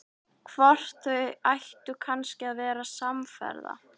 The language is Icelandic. Hvort þau ættu kannski að verða samferða?